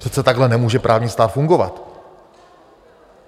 Přece takhle nemůže právní stát fungovat.